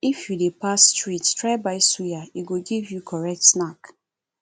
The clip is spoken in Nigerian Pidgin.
if you dey pass street try buy suya e go give you correct snack